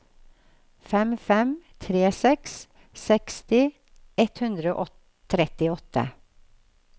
fem fem tre seks seksti ett hundre og trettiåtte